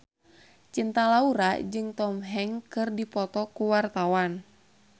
Cinta Laura jeung Tom Hanks keur dipoto ku wartawan